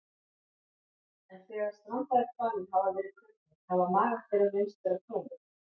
en þegar strandaðir hvalir hafa verið krufnir hafa magar þeirra reynst vera tómir